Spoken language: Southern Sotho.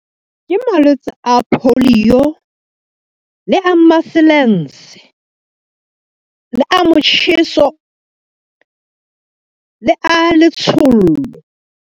Ke malwetse a polio, le a maselense le a motjheso, le a letshollo.